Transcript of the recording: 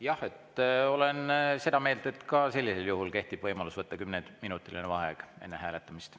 Jah, olen seda meelt, et ka sellisel juhul kehtib võimalus võtta kümneminutiline vaheaeg enne hääletamist.